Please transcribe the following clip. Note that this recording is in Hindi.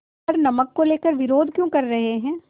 पर नमक को लेकर विरोध क्यों कर रहे हैं